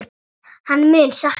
Hann mun sakna mín.